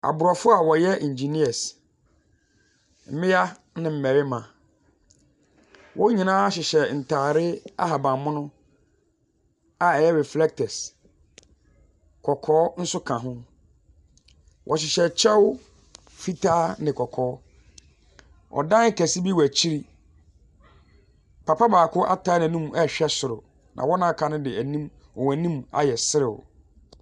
Abrɔfo a ɔyɛ engineers, mmia ne mmaarima, Wɔn nyinaa hyehyɛ ntaade ahaban mono a ɛyɛ reflectors, kɔkɔɔ nso ka ho. Ɔhyehyɛ kyɛw fitaa ne kɔkɔɔ. Ɔdan kɛse bi wɔ akyire. Papa baako atai nenum ɛhwɛ soro na wɔn a aka no deɛ wɔnim ayɛ sere.